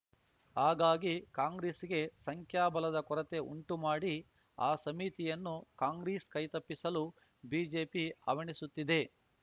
ಹಾಗಾಗಿ ಕಾಂಗ್ರೆಸ್‌ಗೆ ಸಂಖ್ಯಾಬಲದ ಕೊರತೆ ಉಂಟುಮಾಡಿ ಆ ಸಮಿತಿಯನ್ನು ಕಾಂಗ್ರೆಸ್‌ ಕೈ ತಪ್ಪಿಸಲು ಬಿಜೆಪಿ ಹವಣಿಸುತ್ತಿದೆ